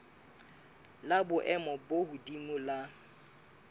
la boemo bo hodimo la